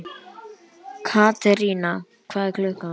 Katerína, hvað er klukkan?